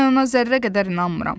Mən ona zərrə qədər inanmıram.